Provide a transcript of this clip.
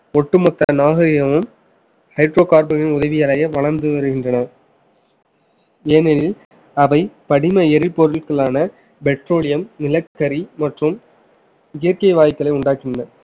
ஒட்டுமொத்த நாகரிகமும் hydrocarbon னின் உதவியடைய வளர்ந்து வருகின்றனர் ஏனெனில் அவை படிம எரிபொருட்களான petroleum நிலக்கரி மற்றும் இயற்கை வாய்க்களை உண்டாக்கியுள்ளது